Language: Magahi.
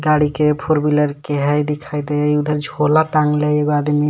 गाड़ी के फोर व्हीलर के है दिखाई दे उधर छोला टांगल है एगो आदमी.